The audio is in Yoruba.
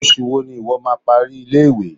Oṣù wo ni ìwo má a parí ilé-ìwé?